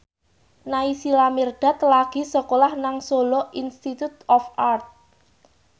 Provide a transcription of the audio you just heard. Naysila Mirdad lagi sekolah nang Solo Institute of Art